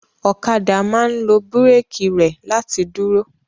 Ọ̀kadà máa ń lo búrékì rẹ̀ láti dúró.